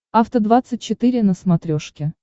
афта двадцать четыре на смотрешке